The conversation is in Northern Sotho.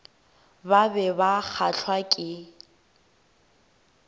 ba be ba kgahlwa ke